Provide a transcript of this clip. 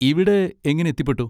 ഇവിടെ എങ്ങനെ എത്തിപ്പെട്ടു?